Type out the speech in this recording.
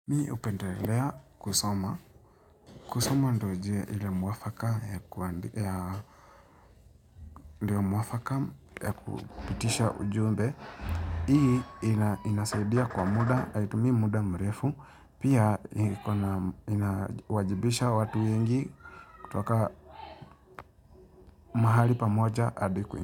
Mi upendelelea kusoma. Kusoma ndo jia ile mwafaka ya kupitisha ujumbe. Hii inasaidia kwa muda, haitumi muda mrefu. Pia inawajibisha watu wengi kutoka mahali pamoja adi ku.